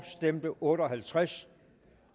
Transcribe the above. stemte otte og halvtreds